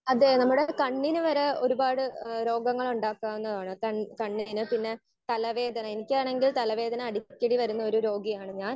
Speaker 1 അതെ നമ്മുടെ കണ്ണിന് വരെ ഒരുപാട് ഏഹ് രോഗങ്ങളുണ്ടാക്കാനാണ് ഏഹ് കണ്ണിന് കണ്ണിന് പിന്നെ തല വേദന എനിക്കാണെങ്കിൽ തലവേദന അടിക്കടി വരുന്ന ഒരു രോഗിയാണ് ഞാൻ.